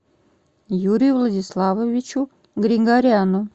юрию владиславовичу григоряну